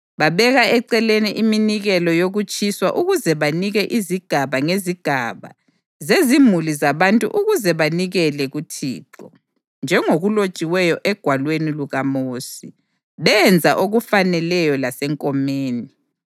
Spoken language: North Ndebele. Babeka eceleni iminikelo yokutshiswa ukuze banike izigaba ngezigaba zezimuli zabantu ukuze banikele kuThixo, njengokulotshiweyo eGwalweni lukaMosi. Benza okufaneleyo lasenkomeni.